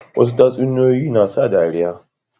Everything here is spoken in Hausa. Wasu tatsuniyoyin na sa dariya